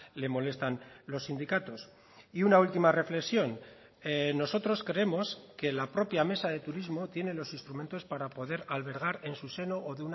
le molestan los sindicatos y una última reflexión nosotros creemos que la propia mesa de turismo tiene los instrumentos para poder albergar en su seno o